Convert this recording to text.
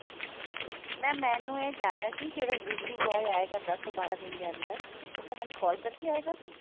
mam ਮੈਨੂੰ ਇਹ ਜਾਨਣਾ ਸੀ ਜਿਹੜਾ delivery boy ਆਏਗਾ ਦਸ ਤੋਂ ਬਾਰਾਂ ਦਿਨ ਦੇ ਅੰਦਰ ਉਹ ਕਿਆ ਮੈਨੂੰ call ਕਰਕੇ ਆਏਗਾ